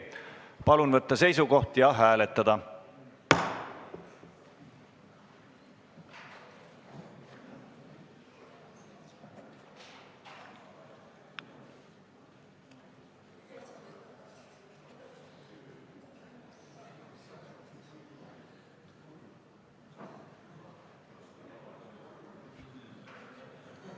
Palun võtta seisukoht ja hääletada!